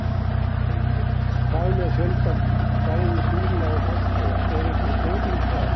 Heimir: Hvað með fjölda bæði bíla og farþega, er einhver breyting þar?